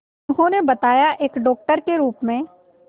उन्होंने बताया एक डॉक्टर के रूप में